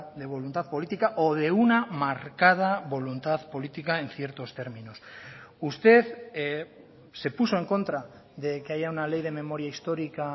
de voluntad política o de una marcada voluntad política en ciertos términos usted se puso en contra de que haya una ley de memoria histórica